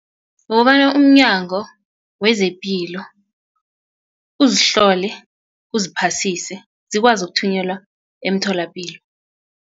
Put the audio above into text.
Kukobana umnyango wezepilo uzihlole uziphasise zikwazi ukuthunyelwa emtholapilo.